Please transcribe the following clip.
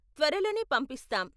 త్వరలోనే పంపిస్తాం!